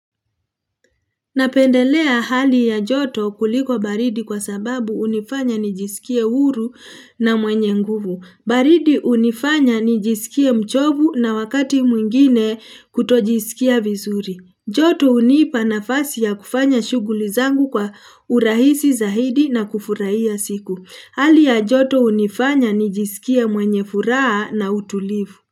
Napendelea hali ya joto kuliko baridi kwa sababu unifanya nijisikie huru na mwenye nguvu. Baridi unifanya nijisikie mchovu na wakati mwingine kutojisikia vizuri. Joto unipa nafasi ya kufanya shuguli zangu kwa urahisi zaidi na kufuraia siku. Hali ya joto unifanya nijisikie mwenye furaa na utulivu.